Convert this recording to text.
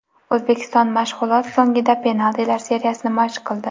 O‘zbekiston mashg‘ulot so‘ngida penaltilar seriyasini mashq qildi.